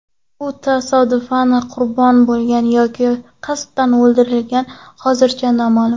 U tasodifan qurbon bo‘lganmi yoki qasddan o‘ldirilganmi, hozircha noma’lum.